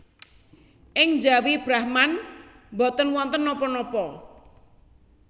Ing njawi Brahman boten wonten napa napa